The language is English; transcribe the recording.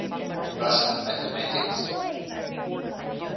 russian mathematicians